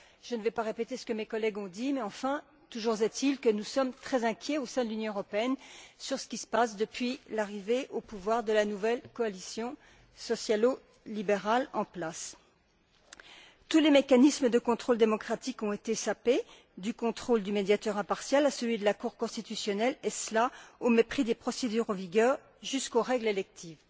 Je ne vais pas répéter ce que mes collègues ont dit, toujours est il que nous sommes très inquiets au sein de l'Union européenne sur ce qui se passe depuis l'arrivée au pouvoir de la nouvelle coalition sociale libérale en place. Tous les mécanismes de contrôle démocratique ont été sapés, du contrôle du médiateur impartial à celui de la Cour constitutionnelle, et cela au mépris des procédures en vigueur, jusqu'aux règles électorales.